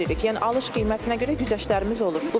Yəni alış qiymətinə görə güzəştlərimiz olur.